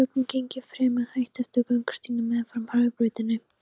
um sökum geng ég fremur hægt eftir göngustígnum meðfram hraðbrautinni.